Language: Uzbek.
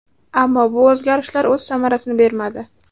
Ammo bu o‘zgarishlar o‘z samarasini bermadi.